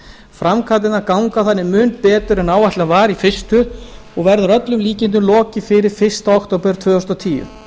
framkvæmdirnar ganga þannig mun betur en áætlað var í fyrstu og verður að öllum líkindum lokið fyrir fyrsta október tvö þúsund og tíu